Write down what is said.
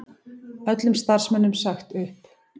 Öllum starfsmönnum sagt upp